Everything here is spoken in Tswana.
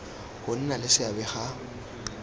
go nna le seabe ga